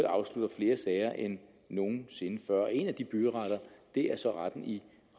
afslutter flere sager end nogen sinde før en af de byretter er så retten i